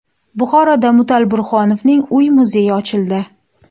Buxoroda Mutal Burhonovning uy-muzeyi ochildi.